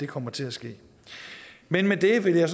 kommer til at ske men med det vil jeg